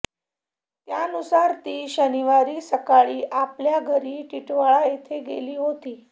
त्यानुसार ती शनिवारी सायंकाळी आपल्या घरी टिटवाळा येथे गेली होती